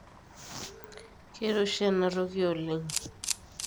keiroshi ena toki oleng